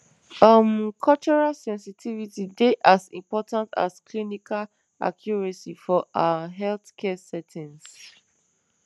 um cultural sensitivity dey as important as clinical accuracy for ah healthcare settings